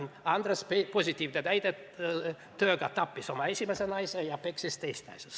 Andres on justkui positiivne näide: tööga tappis oma esimese naise ja peksis teist naist.